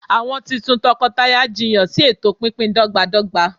awọn titun tọkọtaya jiyan si eto pínpín dọgbadọgba